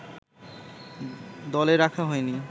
দলে রাখা হয়নি